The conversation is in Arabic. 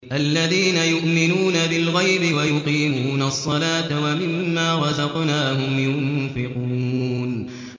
الَّذِينَ يُؤْمِنُونَ بِالْغَيْبِ وَيُقِيمُونَ الصَّلَاةَ وَمِمَّا رَزَقْنَاهُمْ يُنفِقُونَ